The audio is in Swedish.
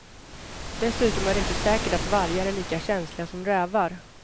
Dessutom är det inte säkert att vargar är lika känsliga som rävar.